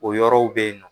O yɔrɔw be yen nɔ